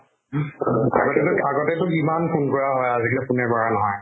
উম। আগতেটো আগতেটো কিমান phone কৰা হয়, আজি কালি phone এ কৰা নহয়।